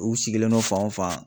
U sigilen don fan o fan.